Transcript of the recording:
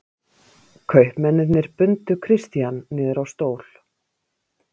Kaupmennirnir bundu Christian niður á stól.